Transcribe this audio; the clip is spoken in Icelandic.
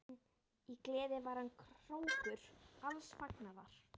Í gleði var hann hrókur alls fagnaðar.